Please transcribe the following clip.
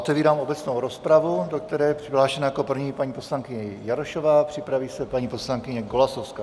Otevírám obecnou rozpravu, do které je přihlášena jako první paní poslankyně Jarošová, připraví se paní poslankyně Golasowská.